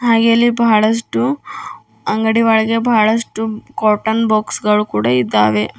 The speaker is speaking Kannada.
ಹಾಗೆ ಇಲ್ಲಿ ಬಹಳಷ್ಟು ಅಂಗಡಿ ಒಳಗೆ ಬಹಳಷ್ಟು ಕಾಟನ್ ಬಾಕ್ಸ್ ಗಳು ಕೂಡ ಇದ್ದಾವೆ.